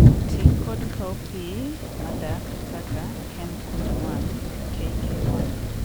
ti kod cowpea madak kaka Ken Kunde1 (KK1)